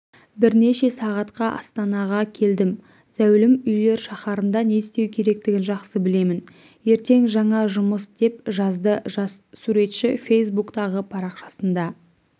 бірнеше сағатқа астанаға келдім зәулім үйлер шаһарында не істеу керектігін жақсы білемін ертең жаңа жұмыс деп жазды жас суретші фейсбуктағы парақшасында